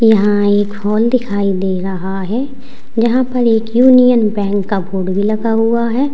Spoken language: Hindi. यहां एक फोन दिखाई दे रहा है जहां पर एक यूनियन बैंक का बोर्ड भी लगा हुआ है।